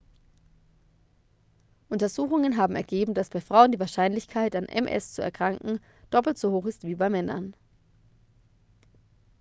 untersuchungen haben ergeben dass bei frauen die wahrscheinlichkeit an ms zu erkranken doppelt so hoch ist wie bei männern